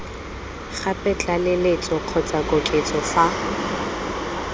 gape tlaleletso kgotsa koketso fa